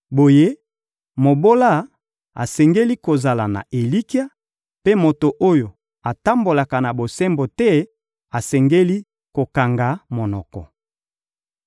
Boye, mobola asengeli kozala na elikya, mpe moto oyo atambolaka na bosembo te asengeli kokanga monoko.